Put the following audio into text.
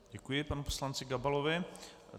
Děkuji panu poslanci Gabalovi.